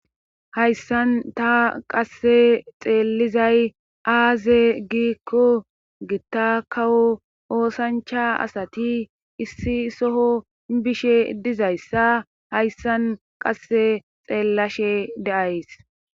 hayssan ta qasse xeellizay aaze giikko gitta kawo oosancha asati issi soho bishe dizayssa hayssan qasse xeellashe deays